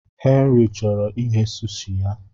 Henry chọrọ ighe sushi ya.